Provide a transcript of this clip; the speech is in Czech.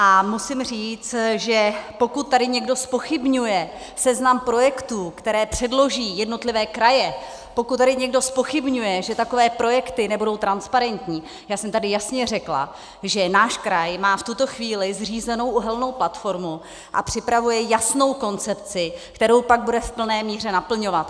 A musím říct, že pokud tady někdo zpochybňuje seznam projektů, které předloží jednotlivé kraje, pokud tady někdo zpochybňuje, že takové projekty nebudou transparentní, já jsem tady jasně řekla, že náš kraj má v tuto chvíli zřízenou uhelnou platformu a připravuje jasnou koncepci, kterou pak bude v plné míře naplňovat.